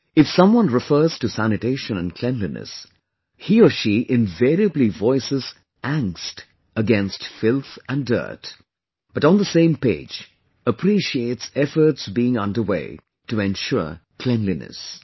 If someone refers to sanitation and cleanliness, he or she invariably voices angst against filth & dirt, but on the same page appreciates efforts being under way to ensure cleanliness